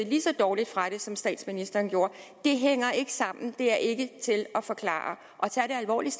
lige så dårligt fra det som statsministeren gjorde det hænger ikke sammen det er ikke til at forklare tag det alvorligt